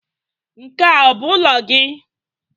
Nke a ọ bụ ụlọ gị?